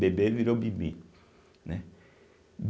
Bebê virou Bibi, né?